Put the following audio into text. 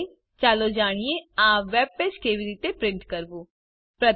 અંતે ચાલો જાણીએ આ વેબપેજ કેવી રીતે પ્રિન્ટ કરવું